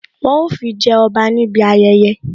Wọn ó fi jẹ ọba níbi ayẹyẹ